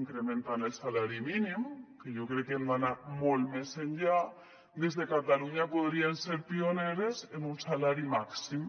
incrementant el salari mínim que jo crec que hem d’anar molt més enllà des de catalunya podríem ser pioneres en un salari màxim